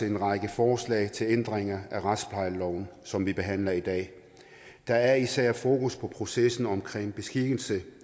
en række forslag til ændringer af retsplejeloven som vi behandler i dag der er især fokus på processen omkring beskikkelse